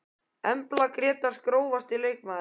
Embla Grétars Grófasti leikmaðurinn?